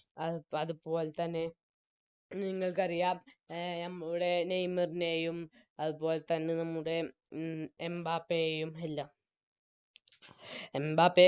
ആ അത്പോലെത്തന്നെ നിങ്ങൾക്കറിയാം അഹ് നമ്മളുടെ നെയ്മറിനെയും അത് പോലെത്തന്നെ എംബാപ്പയെയും എല്ലാം എംബാപ്പയെ